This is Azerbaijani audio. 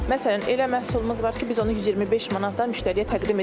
Məsələn, elə məhsulumuz var ki, biz onu 125 manatdan müştəriyə təqdim edə bilirik.